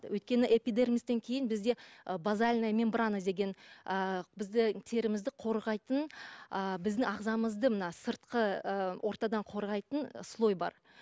өйткені эпидермистен кейін бізде ы базальная мембрана деген ы біздің терімізді қорғайтын ы біздің ағзамызды мына сыртқы ы ортадан қорғайтын слой бар